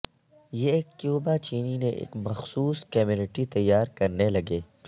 یہ کیوبا چینی نے ایک مخصوص کمیونٹی تیار کرنے لگے